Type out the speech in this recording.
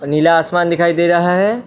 नीला आसमान दिखाई दे रहा है।